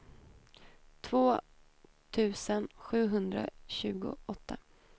två tusen sjuhundratjugoåtta